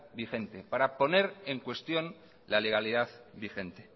vigente para poner en cuestión la legalidad vigente